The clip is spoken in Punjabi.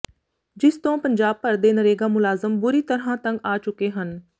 ਿਜਸ ਤੋਂ ਪੰਜਾਬ ਭਰ ਦੇ ਨਰੇਗਾ ਮੁਲਾਜ਼ਮ ਬੁਰੀ ਤਰ੍ਹਾਂ ਤੰਗ ਆ ਚੁੱਕੇ ਹਨ